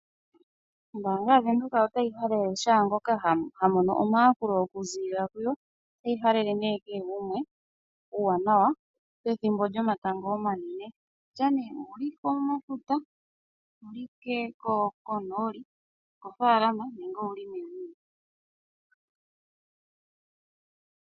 Ombaanga yaVenduka otayi halele shaangoka ha mono omayakulo oku ziilila kuyo, otayi halele nee kehe gumwe uuwanawa pethimbo lyomatango omanene. Okutya nee owuli komafuta, owu li konooli, moofaalama nenge owuli meni lyegumbo.